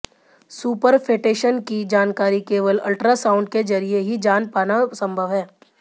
superfetation की जानकारी केवल अल्ट्रासाउंड के जरिए ही जान पाना संभव है